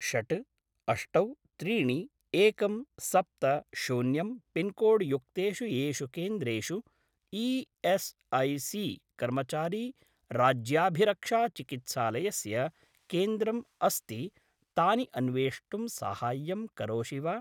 षट् अष्टौ त्रीणि एकं सप्त शून्यं पिन्कोड्-युक्तेषु येषु केन्द्रेषु ई.एस्.ऐ.सी. कर्मचारी-राज्याभिरक्षा-चिकित्सालयस्य केन्द्रम् अस्ति तानि अन्वेष्टुं साहाय्यं करोषि वा?